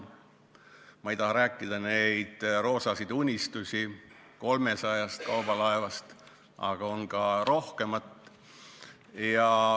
Ma ei taha rääkida neid roosasid unistusi 300 kaubalaevast, siin on rohkematki.